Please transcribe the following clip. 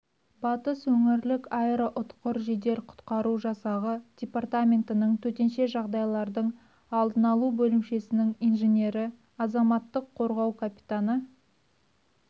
батыс өңірлік аэроұтқыр жедел құтқару жасағы департаменттің төтенше жағдайлардың алдын алу бөлімшесінің инженері азаматтық қорғау капитаны